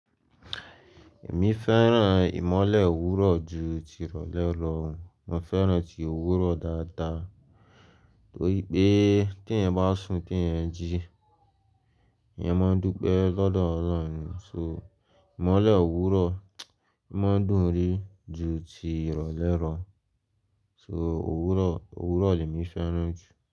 Èmi fẹ́ràn ìmọ́lẹ̀ òwúrọ̀ ju tí rọ̀lẹ́ lọ. Mo fẹ́ràn ti òwúrọ̀ dáadáa torí pé tè èèyàn bá sun tí èèyàn ń jí, èèyàn máa ń dúpẹ́ lọ́dọọ́ ọlọ́run ní. So ìmọ́lẹ̀ òwúrọ̀ máa ń dùn rí ju ti ìrọ̀lẹ́ rọ̀. So òwúrọ̀, òwúrọ̀ lè mí fẹ́ràn jù.